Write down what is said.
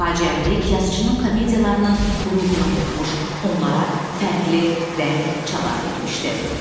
Faciəvilik yazıçının komediyalarının ruhuna hopmuş, onlara fərqli rəng, çalar vermişdi.